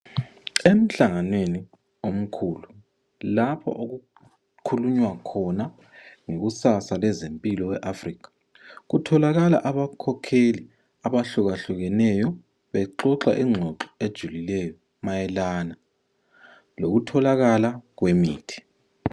Emhlanganweni omkhulu lapho okukhulunywa khona ngekusasa yezempiloeAfrica. Kutholakala abakhokheli abahlukahlukeneyo bexoxa ngengxoxo ejulileyo mayelana lokutholakala kwemithi.